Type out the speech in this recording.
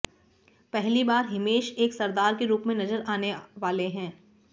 पहली बार हिमेश एक सरदार के रूप में नजर आने वाले हैं